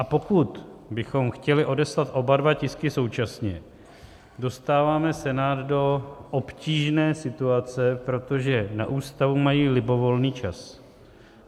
A pokud bychom chtěli odeslat oba dva tisky současně, dostáváme Senát do obtížné situace, protože na ústavu mají libovolný čas.